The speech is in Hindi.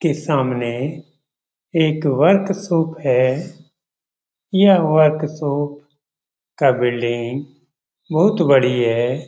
के सामने एक वर्कशाप है। यह वर्कशाप का बिल्डिंग बहुत बड़ी है।